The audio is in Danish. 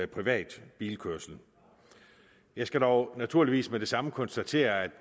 privat bilkørsel jeg skal dog naturligvis med det samme konstatere at